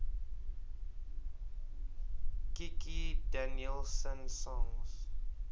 kikki danielsson songs